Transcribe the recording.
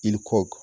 I ni kɔ